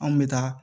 Anw bɛ taa